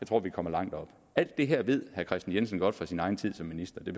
tror vi kommer langt op alt det her ved herre kristian jensen godt fra sin egen tid som minister det